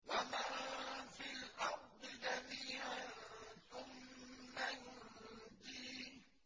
وَمَن فِي الْأَرْضِ جَمِيعًا ثُمَّ يُنجِيهِ